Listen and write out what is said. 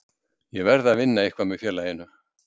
Ég verð að vinna eitthvað með félaginu.